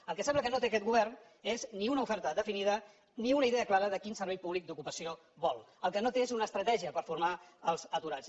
el que sembla que no té aquest govern és ni una oferta definida ni una idea clara de quin servei públic d’ocupació vol el que no té és una estratègia per formar els aturats